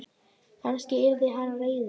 Kannski yrði hann reiður?